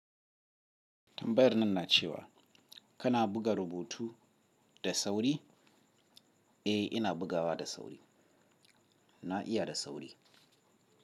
Tambayar nan nacewa kana buga rubutu da sauri? Eh ina bugawa da sauri, na iyada sauri.